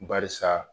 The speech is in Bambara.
Barisa